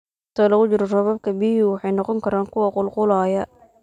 Inta lagu jiro roobabka, biyuhu waxay noqon karaan kuwo qulqulaya.